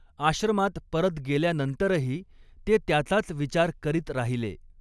आश्रमात परत गेल्यानंतरही ते त्याचाच विचार करीत राहिले.